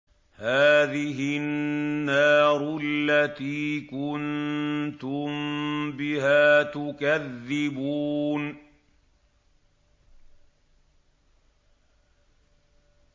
هَٰذِهِ النَّارُ الَّتِي كُنتُم بِهَا تُكَذِّبُونَ